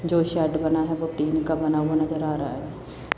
जो शेड बना है वो टीन का बना हुआ नजर आ रहा है।